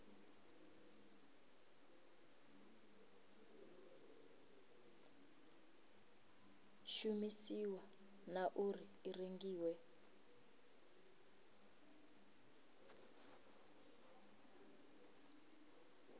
shumisiwa na uri i rengiwa